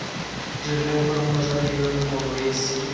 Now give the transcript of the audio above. dirileng gore mosadi yono morwesi